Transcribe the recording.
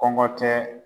Kɔngɔ tɛ